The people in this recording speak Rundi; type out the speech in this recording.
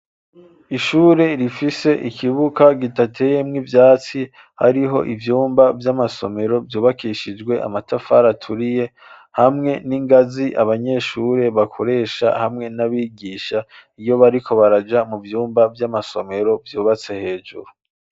Ishure, rifise ikibuga, gitateyemwo ivyatsi, hariho ivyumba, vy'amasomero, vyubakishijwe, amatafari aturiye; hamwe n'ingazi, abanyeshure bakoresha, hamwe n'abigisha, iyo, bariko baraja, mu vyumba vy'amasomero, vyubatse hejuru.